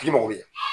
K'i mago bɛ